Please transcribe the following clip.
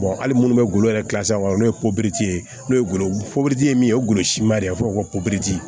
hali munnu bɛ golo yɛrɛ kilasi kɔnɔ n'o ye ye n'o ye golo ye min ye o golosiman de a bɛ fɔ o ma ko